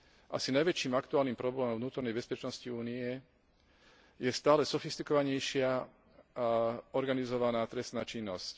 Asi najväčším aktuálnym problémom vnútornej bezpečnosti Únie je stále sofistikovanejšia organizovaná trestná činnosť.